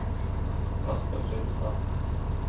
Espen Lindseth